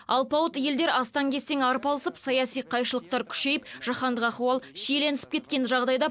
алпауыт елдер астаң кестең арпалысып саяси қайшылықтар күшейіп жаһандық ахуал шиелінісіп кеткен жағдайда